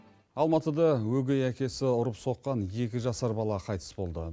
алматыда өгей әкесі ұрып соққан екі жасар бала қайтыс болды